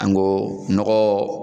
An go nɔgɔɔ